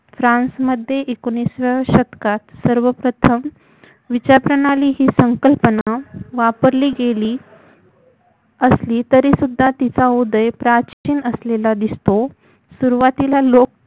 फ्रान्समध्ये एकोणीसाव्या शतकात सर्वप्रथम विचारप्रणाली ही संकल्पना वापरली गेली असली तरी सुद्धा तिचा उदय प्राचीन असलेला दिसतो सुरवातीला लोक